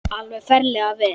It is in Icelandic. Alveg ferlega vel.